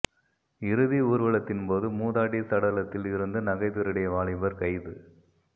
இறுதி ஊர்வலத்தின்போது மூதாட்டி சடலத்தில் இருந்து நகை திருடிய வாலிபர் கைது